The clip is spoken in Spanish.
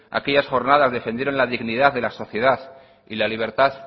aquellas jornadas defendieron la dignidad de la sociedad y la libertad